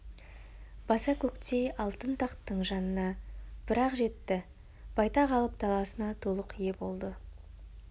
баса-көктей алтын тақтың жанына бір-ақ жетті байтақ алып даласына толық ие болды